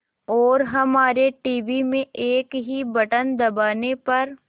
और हमारे टीवी में एक ही बटन दबाने पर